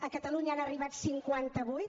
a catalunya n’han arribat cinquanta vuit